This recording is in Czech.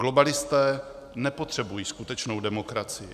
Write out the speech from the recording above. Globalisté nepotřebují skutečnou demokracii.